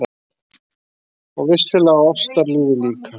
Og vissulega á ástarlífið líka!